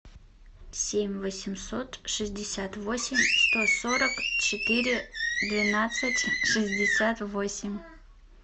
семь восемьсот шестьдесят восемь сто сорок четыре двенадцать шестьдесят восемь